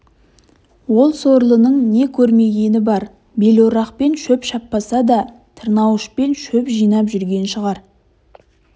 ол сорлының не көрмегені бар белорақпен шөп шаппаса да тырнауышпен шеп жинап жүрген шығар